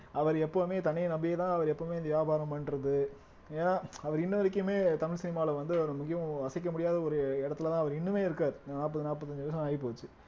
அவர் எப்பவுமே தன்னை நம்பியேதான் அவர் எப்பவுமே இந்த வியாபாரம் பண்றது ஏன்னா அவர் இன்ன வரைக்குமே தமிழ் சினிமாவுல வந்து அவர் மிகவும் அசைக்க முடியாத ஒரு இடத்துலதான் அவர் இன்னுமே இருக்காரு நாற்பது நாற்பத்தி அஞ்சு வருஷம் ஆகிப்போச்சு